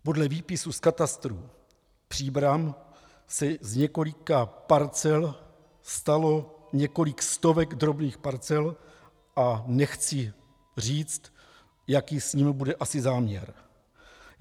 Podle výpisu z katastru Příbram se z několika parcel stalo několik stovek drobných parcel a nechci říct, jaký s nimi bude asi záměr.